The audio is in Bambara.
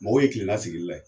Mɔgɔw ye kilen na sigili la ye.